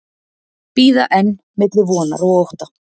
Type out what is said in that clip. Bíða enn milli vonar og ótta